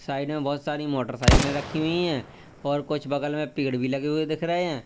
Side में बहुत सारी मोटरसाइकिलें रखी हुई हैं और कुछ बगल में पेड़ भी लगे हुए दिख रहे हैं।